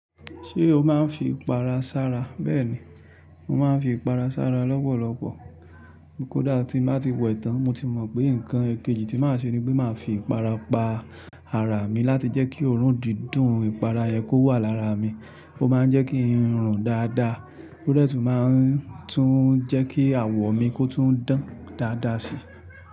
Ṣé o máa ń fi ìpara sára? Bẹ́ẹ̀ni, mo máa ń fi ìpara sára lọ́pọ̀lọpọ̀. Kódà tí ń bá ti wẹ tán, mo ti mọ̀ pé nǹkan èkejì tí màá ṣe ni pé màá fi ìpara pa ara mi láti jẹ́ kí òórùn dídùn ìpara yẹn kó wà lára mi. Ó máa ń jẹ́ kí n rùn dáadáa, o dẹ tun máa ń tún jẹ́ kí àwọ̀ mi kó tún dán dáadáa sí.